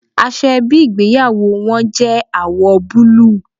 Aṣọ ẹbí ìgbéyàwó wọn jẹ́ àwọ̀ búlúù.